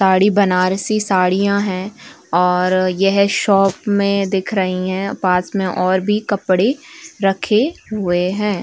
सारी बनारसी साड़ियां है और यह शॉप में दिख रही हैं। पास में और भी कपड़े रखे हुए हैं।